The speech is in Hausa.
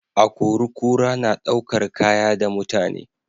Akori-kura na ɗaukar Kaya da mutane